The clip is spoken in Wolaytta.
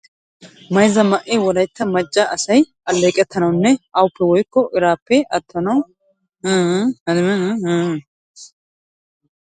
Mayzza ma"e wolaytta macca asay alleeqettanawunne awaappe woykko iraappe attanawu dibaabiya go"ettoosona. Ha dibaabee shombboquwappenne dumma dumma meraara de'iya qalametuppe merettees.